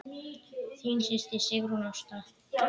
Þín systir, Sigrún Ásta.